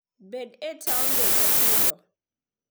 Bed e taonde matindo.